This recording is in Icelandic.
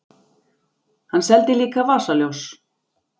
Hann seldi líka vasaljós.